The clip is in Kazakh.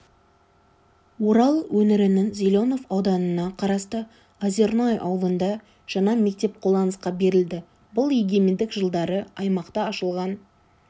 орал өңірінің зеленов ауданына қарасты озерное аулында жаңа мектеп қолданысқа берілді бұл егемендік жылдары аймақта ашылған